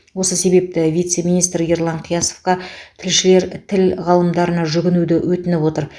осы себепті вице министр ерлан қиясовқа тілшілер тіл ғалымдарына жүгінуді өтініп отыр